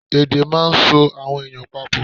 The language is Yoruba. Èdè máà ń so àwọn èèyàn pa pọ̀